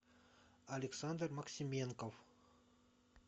александр максименков